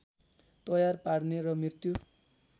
तयार पार्ने र मृत्यु